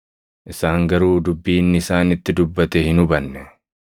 Isaan garuu dubbii inni isaanitti dubbate hin hubanne.